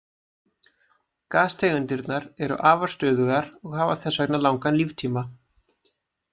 Gastegundirnar eru afar stöðugar og hafa þess vegna langan líftíma.